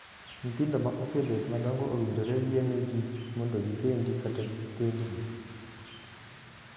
Nyithindo ma osebet madongo owinjore yienegi mondo gikendi kata kendgi.